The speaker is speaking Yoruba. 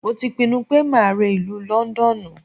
Mo ti pinnu pé máa re ìlú Lọ́ńdọ́ọ̀nù.